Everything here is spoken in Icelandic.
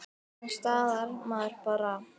Annars staðnar maður bara.